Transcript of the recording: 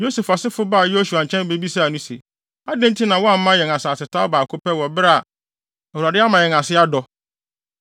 Yosef asefo baa Yosua nkyɛn bebisaa no se, “Adɛn nti na woama yɛn asasetaw baako pɛ wɔ bere a Awurade ama yɛn ase adɔ?”